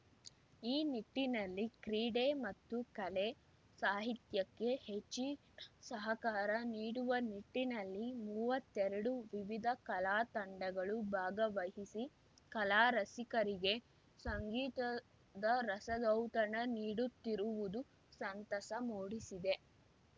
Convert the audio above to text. ಈ ನಿಟ್ಟಿನಲ್ಲಿ ಕ್ರೀಡೆ ಮತ್ತು ಕಲೆ ಸಾಹಿತ್ಯಕ್ಕೆ ಹೆಚ್ಚಿನಸಹಕಾರ ನೀಡುವ ನಿಟ್ಟಿನಲ್ಲಿ ಮೂವತ್ತೆರಡು ವಿವಿಧ ಕಲಾ ತಂಡಗಳು ಭಾಗವಹಿಸಿ ಕಲಾ ರಸಿಕರಿಗೆ ಸಂಗೀತದ ರಸದೌತಣ ನೀಡುತ್ತಿರುವುದು ಸಂತಸ ಮೂಡಿಸಿದೆ